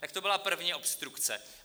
Tak to byla první obstrukce.